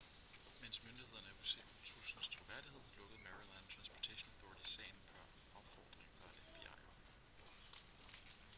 mens myndighederne er usikre på truslens troværdighed lukkede maryland transportation authority sagen per opfordring fra fbi